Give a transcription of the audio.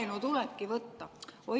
Laenu tulebki võtta!